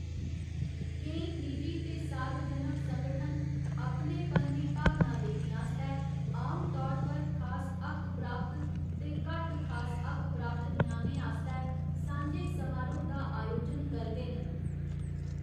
केईं निजी ते सार्वजनक संगठन अपनेपन दी भावना देने आस्तै आमतौर पर खास हक्क प्राप्त ते घट्ट खास हक्क प्राप्त ञ्याणें आस्तै सांझे समारोह् दा आयोजन करदे न।